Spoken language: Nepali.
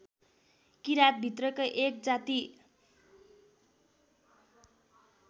किरात भित्रकै एक जाति